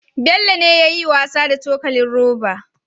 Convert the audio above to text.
Bello ne yayi wasa da cokalin roba